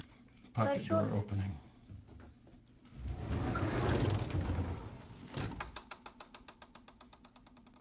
Hvar er sonur minn?